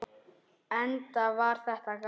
Enda var þetta gaman.